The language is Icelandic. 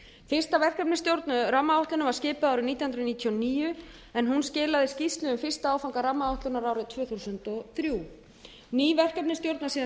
fyrsta verkefnisstjórn rammaáætlunar var skipuð árið nítján hundruð níutíu og níu en hún skilaði skýrslu um fyrsta áfanga rammaáætlunar árið tvö þúsund og þrjú ný verkefnisstjórn var síðan